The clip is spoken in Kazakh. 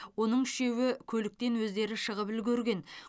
оның үшеуі көліктен өздері шығып үлгерген